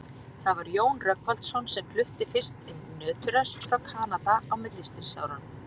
Það var Jón Rögnvaldsson sem flutti fyrst inn nöturösp frá Kanada á millistríðsárunum.